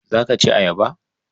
Za ka ci ayaba?